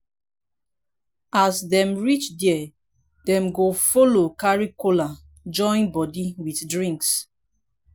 as dem reach dia dem go follow carry kola join body with drinks